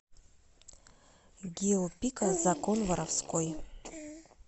гио пика закон воровской